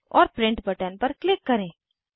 औए print button पर click करें